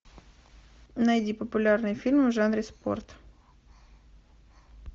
найди популярные фильмы в жанре спорт